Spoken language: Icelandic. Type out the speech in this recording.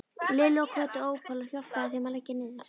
Lillu og Kötu Ópal og hjálpaði þeim að leggja niður.